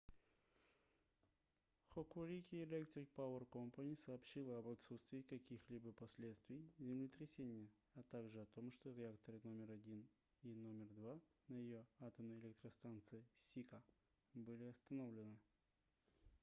hokuriku electric power co. сообщила об отсутствии каких-либо последствий землетрясения а также о том что реакторы № 1 и № 2 на её атомной электростанции сика были остановлены